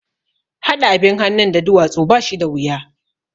Haɗa abin hannun da duwatsu ba shi da wuya